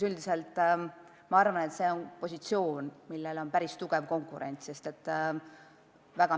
Üldiselt ma arvan, et see on positsioon, millele on päris tugev konkurents.